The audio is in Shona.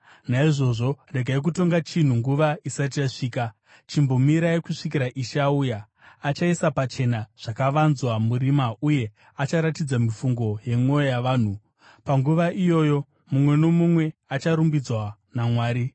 Naizvozvo, regai kutonga chinhu nguva isati yasvika; chimbomirai kusvikira Ishe auya. Achaisa pachena zvakavanzwa murima uye acharatidza mifungo yemwoyo yavanhu. Panguva iyoyo mumwe nomumwe acharumbidzwa naMwari.